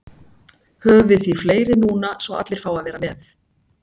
höfum við því fleiri núna svo allir fái að vera með